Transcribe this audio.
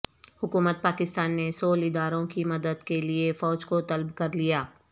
حکومت پاکستان نے سول اداروں کی مدد کے لیے فوج کو طلب کرلیا